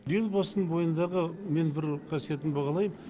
елбасының бойындағы мен бір қасиетін бағалаймын